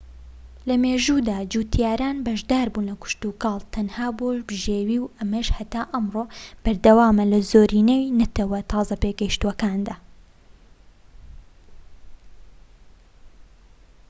لەمێژوودا جوتیاران بەشداربوون لە کشتوکاڵ تەنها بۆ بژێوی و ئەمەش هەتا ئەمڕۆ بەردەوامە لە زۆرینەی نەتەوە تازە پێگەشتووەکاندا